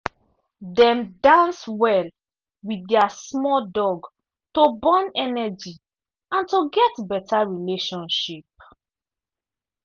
dem dance well with their small dog to burn energy and to get better relationship.